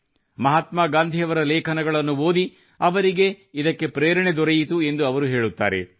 ಮಹಾತ್ಮಾ ಗಾಂಧಿಯವರ ಲೇಖನಗಳನ್ನು ಓದಿ ಅವರಿಗೆ ಇದಕ್ಕೆ ಪ್ರೇರಣೆ ದೊರೆಯಿತು ಎಂದು ಅವರು ಹೇಳುತ್ತಾರೆ